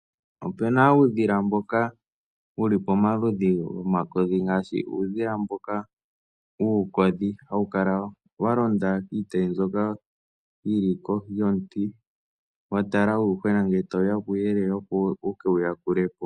Opu na uudhila mboka wu li pomaludhi gomakodhi ngaashi uudhila mboka wuukodhi hawu kala wa londa kiitayi mbyoka kohi yomuti wa tala uuyuhwena ngele tawu ya puuyelele, opo wu ke wu yakule po.